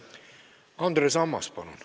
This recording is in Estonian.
Andres Ammas, palun!